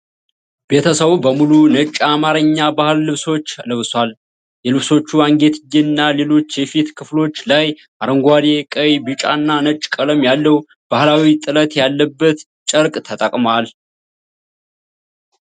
ቤተሰቡ በሙሉ ነጭ የአማርኛ ባህላዊ ልብሶች ለብሷል። የልብሶቹ አንገትጌ እና ሌሎች የፊት ክፍሎች ላይ አረንጓዴ፣ ቀይ፣ ቢጫ እና ነጭ ቀለም ያለው ባህላዊ ጥለት ያለበት ጨርቅ ተጠቅሟል